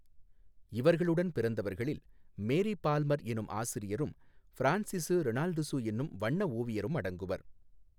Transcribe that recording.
இவர்களுடன் பிறந்தவர்களில் Mary Palmer எனும் ஆசிரியரும் பிரான்சிசு இரெனால்டுசு எனும் வண்ண ஓவியரும் அடங்குவர்.